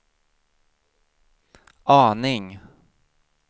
aning